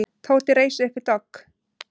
Tóti reis upp við dogg.